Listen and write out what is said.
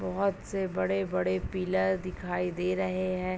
बहोत से बड़े-बड़े पिलर दिखाई दे रहे हैं।